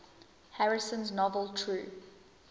harrison's novel true